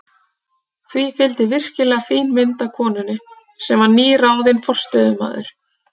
Því fylgdi virkilega fín mynd af konunni, sem var nýráðinn forstöðumaður